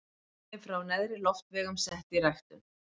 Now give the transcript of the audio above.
Sýni frá neðri loftvegum sett í ræktun.